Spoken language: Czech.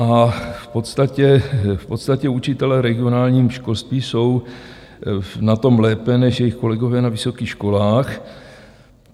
A v podstatě učitelé regionálního školství jsou na tom lépe než jejich kolegové na vysokých školách.